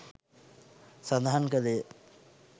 සඳහන් කළේය.